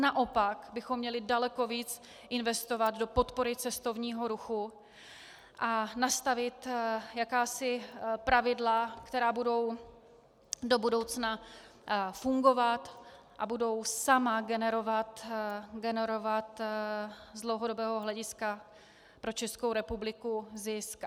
Naopak bychom měli daleko víc investovat do podpory cestovního ruchu a nastavit jakási pravidla, která budou do budoucna fungovat a budou sama generovat z dlouhodobého hlediska pro Českou republiku zisk.